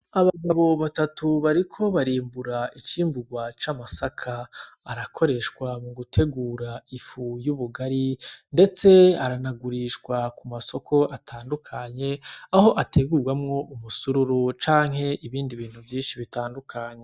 Abagabo batatu bariko barimbura icimburwa c'amasaka arakoreshwa mu gutegura ifu y'ubugari , ndetse aranagurishwa ku masoko atandukanye aho ategurwamwo ubusururu canke ibindi bintu vyinshi bitandukanye .